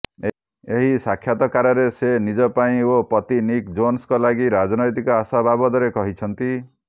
ଏହି ସାକ୍ଷାତକାରରେ ସେ ନିଜ ପାଇଁ ଓ ପତି ନିକ୍ ଜୋନସଙ୍କ ଲାଗି ରାଜନୈତିକ ଆଶା ବାବଦରେ କହିଛନ୍ତି